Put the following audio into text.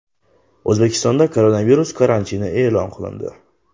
O‘zbekistonda koronavirus karantini e’lon qilindi .